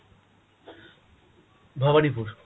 Bhabanipur.